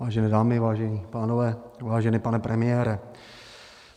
Vážené dámy, vážení pánové, vážený pane premiére.